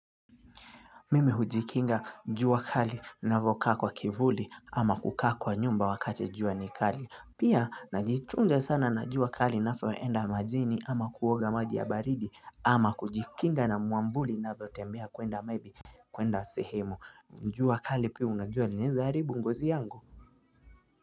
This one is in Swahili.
Mimi hujikinga njua kali navyokaa kwa kivuli ama kukaa kwa nyumba wakati njua ni kali pia najichunja sana na njua kali napoenda majini ama kuoga maji ya baridi ama kujikinga na muamvuli na vyo tembea kwenda maybe kwenda sehemu njua kali pia unajua inaweza haribu ngozi yangu.